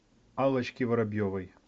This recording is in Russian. аллочки воробьевой